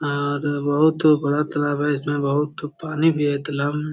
और बहुत बड़ा तालाब है। इसमें बहुत पानी भी है तालाब में।